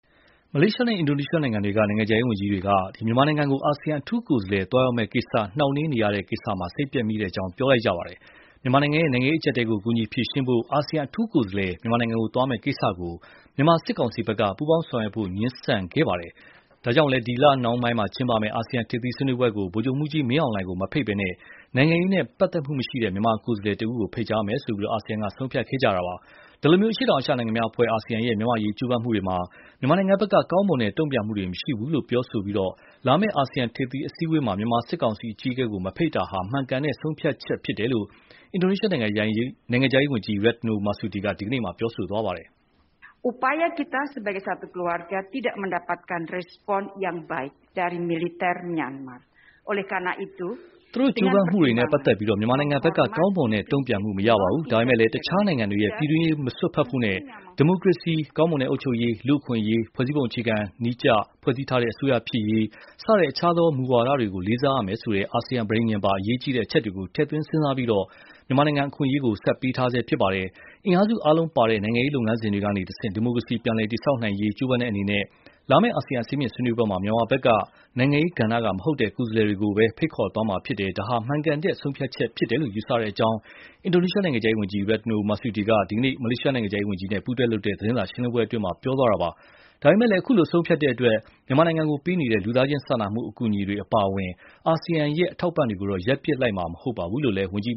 မလေးရှားနဲ့ အင်ဒိုနီးရှားနိုင်ငံတွေက နိုင်ငံခြားရေးဝန်ကြီးတွေက မြန်မာနိုင်ငံကို အာဆီယံအထူးကိုယ်စားလှယ် သွားရောက်မယ့်ကိစ္စ နှောင့်နှေးနေရတဲ့ ကိစ္စ စိတ်ပျက်မိကြောင်း ပြောကြားသွားပါတယ်။ မြန်မာနိုင်ငံရဲ့ နိုင်ငံရေး အကြပ်အတည်းကို ကူညီဖြေရှင်းဖို့ အာဆီယံအထူးကိုယ်စားလှယ် မြန်မာနိုင်ငံသွားရောက်မယ့် ကိစ္စကို မြန်မာစစ်ကောင်စီဘက်က ပူးပေါင်းဆောင်ရွတ်ဖို့ ငြင်းဆန်လို့ ဒီလနှောင်းပိုင်း ကျင်းပမယ့် အာဆီယံ ထိပ်သီးဆွေးနွေးပွဲကို ဗိုလ်ချုပ်မှူးကြီးမင်းအောင်လှိုင်ကို မဖိတ်ဘဲ နိုင်ငံရေးနဲ့ ပတ်သတ်မှုမရှိတဲ့ မြန်မာကိုယ်စားလှယ်တဦးကို ဖိတ်ကြားမယ်လို့ အာဆီယံက ဆုံးဖြတ်ခဲ့ပါတယ်။ ဒီလို အရှေ့တောင်အာရှနိုင်ငံများအဖွဲ့ အာဆီယံရဲ့ မြန်မာ့အရေး ကြိုးပမ်းမှုတွေမှာ မြန်မာဘက်က ကောင်းမွန်တဲ့ တုံ့ပြန်မှုတွေ မရှိဘူးလို့ ပြောဆိုပြီး လာမယ့် အာဆီယံထိပ်သီး အစည်းအဝေးမှာ မြန်မာစစ်ကောင်စီ အကြီးအကဲကို မဖိတ်တာဟာ မှန်ကန်တဲ့ဆုံးဖြတ်ချက် ဖြစ်တယ်လို့ အင်ဒိုနီးရှားနိုင်ငံခြားရေးဝန်ကြီး Retno Marsudi က ဒီကနေ့ ပြောဆိုလိုက်ပါတယ်။ “ကျမတို့ ကြိုးပမ်းမှုတွေနဲ့ပတ်သက်လို့ မြန်မာဘက်က ကောင်းမွန်တဲ့ တုံ့ပြန်မှု မရခဲ့ပါဘူး။ ဒါပေမဲ့လည်း တခြားနိုင်ငံတွေရဲ့ ပြည်တွင်းရေး မစွက်ဖက်ဖို့နဲ့ ဒီမိုကရေစီ၊ ကောင်းမွန်တဲ့အုပ်ချုပ်ရေး၊ လူ့အခွင့်အရေးနဲ့ ဖွဲ့စည်းပုံအခြေခံဥပဒေနည်းကျ ဖွဲ့စည်းထားတဲ့ အစိုးရ ဖြစ်ရေး ဆိုတဲ့ တခြားသော မူဝါဒတွေကိုလေးစားရမယ် ဆိုတဲ့ အာဆီယံ ပဋိဉာဉ်ပါ အရေးကြီးတဲ့အချက်တွေကို ထည့်သွင်းစဉ်းစားပြီး မြန်မာနိုင်ငံကို အခွင့် အရေး ဆက်ပေးထားဆဲ ဖြစ်ပါတယ်။ အင်အားစု အားလုံးပါဝင်တဲ့ နိုင်ငံရေး လုပ်ငန်းစဉ်တွေကနေတဆင့် ဒီမိုကရေစီ ပြန်လည် တည်ဆောက်နိုင်ရေး ကြိုးပမ်းတဲ့အနေနဲ့ လာမယ့် အာဆီယံ အဆင့်မြင့်ဆွေးနွေးပွဲမှာ မြန်မာဘက်က နိုင်ငံရေးကဏ္ဍကမဟုတ်တဲ့ ကိုယ်စားလှယ်တွေကိုပဲ ဖိတ်ခေါ်သွားမှာဖြစ်ပါတယ်။ ဒါဟာ မှန်ကန်တဲ့ဆုံးဖြတ်ချက်လို့ ယူဆပါတယ်။” - လို့ အင်ဒိုနီးရှားနိုင်ငံခြားရေး ဝန်ကြီးRetno Marsudi က ဒီကနေ့ မလေးရှားနိုင်ငံခြားရေးဝန်ကြီးနဲ့ ပူးတွဲလုပ်တဲ့ သတင်းစာရှင်းလင်းပွဲအတွင်း ပြောသွားတာပါ။ ဒါပေမဲ့ ခုလို ဆုံးဖြတ်တဲ့အတွက် မြန်မာကိုပေးနေတဲ့ လူသားချင်းစာနာမှု အကူအညီတွေ အပါအဝင် အာဆီယံရဲ့ အထောက်အပံ့တွေကိုတော့ ရပ်ပစ်လိုက်မှာ မဟုတ်ပါဘူးလို့လည်း ဝန်ကြီး